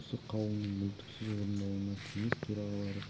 осы қаулының мүлтіксіз орындалуына кеңес төрағалары